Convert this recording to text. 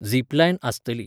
Zip line आसतली.